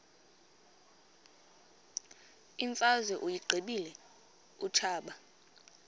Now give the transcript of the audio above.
imfazwe uyiqibile utshaba